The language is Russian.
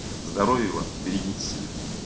здоровья вам берегите себя